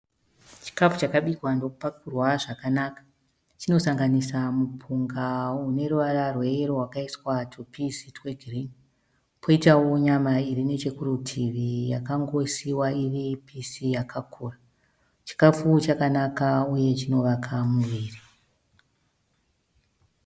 Chikafu chakabikwa ndokupakurwa zvakanaka. Chinosanganisira mupunga une ruvara rweyero wakaiswa tupizi twegirini. Kwoitawo nyama iri nechekurutivi yakangosiiwa iri pisi yakakura. Chikafu chakanaka uye chinovaka muviri.